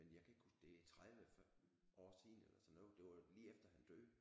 Men jeg kan ikke huske det er 30 år siden eller sådan noget det var lige efter han døde